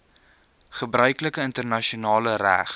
gebruiklike internasionale reg